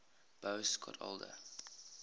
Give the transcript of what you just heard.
boas got older